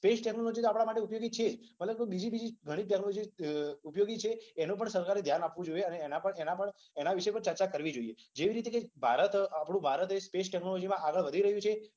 Space technology તો આપણા માટે ઉપયોગી છે જ. પણ બીજી બી ઘણી ટેક્નોલોજી ઉપયોગી છે એના પર પણ સરકારે ધ્યાન આપવુ જોઈએ. અને એના પર એના વિશે પણ ચર્ચા કરવી જોઈએ. જેવી રીતે ભારત સ્પેસ ટેક્નોલોજીમાં આગળ વધી રહ્યુ છે